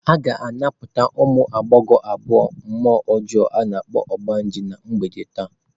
A ga-anapụta ụmụ agbọghọ abụọ mmụọ ọjọọ a na-akpọ "ogbanje" na mgbede taa.